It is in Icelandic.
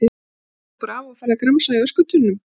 Svo stingur þú bara af og ferð að gramsa í öskutunnum!